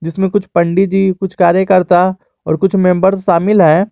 इसमें कुछ पंडित जी कुछ कार्यकर्ता और कुछ मेंबर शामिल है।